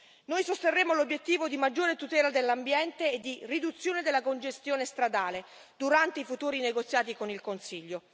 Noi sosterremo l'obiettivo di maggiore tutela dell'ambiente e di riduzione della congestione stradale durante i futuri negoziati con il Consiglio.